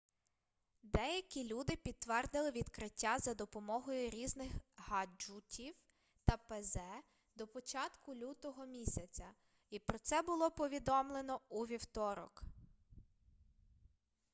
деякі люди підтвердили відкриття за допомогою різних гаджутів та пз до початку лютого місяця і про це було повідомлено у вівторок